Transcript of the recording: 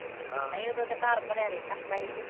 ਹਾਂ ਨਹੀ ਉਦੋਂ ਤੇ ਘਰ ਭਰਿਆ ਰਹਿੰਦਾ ਹੁੰਦਾ ਹੀ ਤੇ